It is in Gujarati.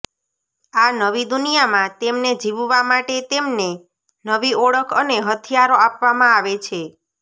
આ નવી દુનિયામાં તેમને જીવવા માટે તેમને નવી ઓળખ અને હથિયારો આપવામાં આવે છે